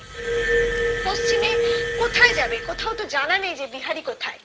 কোথায় যাবে কোথাও তো জানা নেই যে বিহারি কোথায়